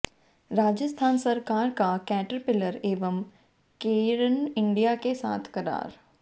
राजस्थान सरकार का कैटरपिलर एवं केयर्न इंडिया के साथ करार